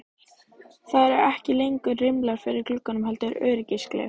Það eru ekki lengur rimlar fyrir gluggunum heldur öryggisgler.